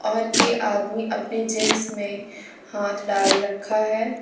और कि आदमी अपने जींस में हाथ डाल रखा है।